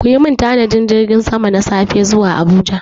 Ku yi min tanadin jirgin sama na safe zuwa Abuja!